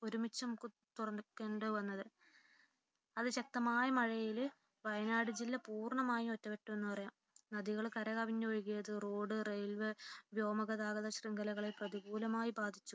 ഒരുമിച്ചു നമുക്ക് തുറക്കേണ്ടി വന്നത് അതിശക്തമായ മഴയിൽ വയനാട് ജില്ല പൂർണമായും ഒറ്റപ്പെട്ടു എന്ന് പറയാം നദികൾ കരകവിഞ്ഞു ഒഴുകിയത് റോഡ് റെയിൽവേ വ്യോമ ഗതാഗത ശൃംഖലകളെ പ്രതികൂലമായി ബാധിച്ചു